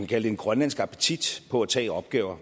kalde en grønlandsk appetit på at tage opgaver